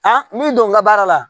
min don la baara la